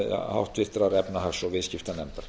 háttvirtrar efnahags og viðskiptanefndar